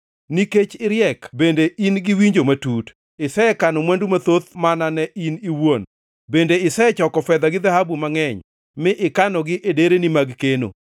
Nikech iriek bende in gi winjo matut, isekano mwandu mathoth mana ne in iwuon, bende isechoko fedha gi dhahabu mangʼeny, mi ikanogi e dereni mag keno.